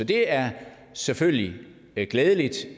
det er selvfølgelig glædeligt